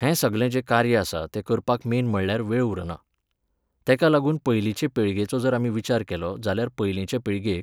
हें सगलें जें कार्य आसा तें करपाक मेन म्हळ्यार वेळ उरना. तेका लागून पयलींचे पिळगेचो जर आमी विचार केलो, जाल्यार पयलीचे पिळगेक